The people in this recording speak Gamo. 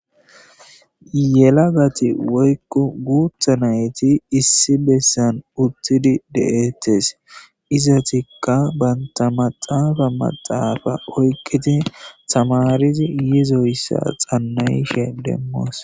Yelagati woykko guutha nayti issi bessan uttidi de'ettes. Izatikka bantta maxaafa maxaafa oykqidzi thamarizi yizoyssa xannayishe demmoos.